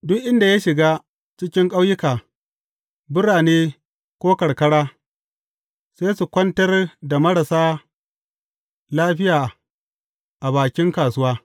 Duk inda ya shiga, cikin ƙauyuka, birane ko karkara, sai su kwantar da marasa lafiya a bakin kasuwa.